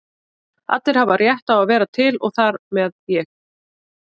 Allir hafa rétt á að vera til og þar með ég.